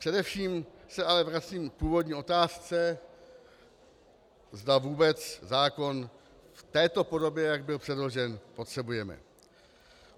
Především se ale vracím k původní otázce, zda vůbec zákon v této podobě, jak byl předložen, potřebujeme.